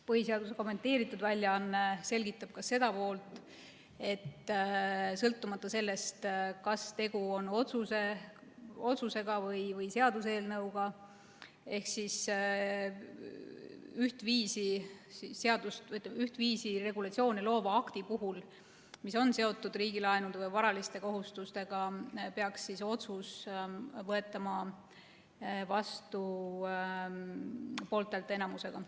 Põhiseaduse kommenteeritud väljaanne selgitab ka seda poolt, et sõltumata sellest, kas tegu on otsuse või seaduseelnõuga ehk siis ühtviisi regulatsioone loova aktiga, mis on seotud riigilaenude või varaliste kohustustega, peaks otsus võetama vastu poolthäälteenamusega.